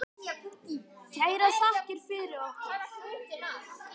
Kærar þakkir fyrir okkur.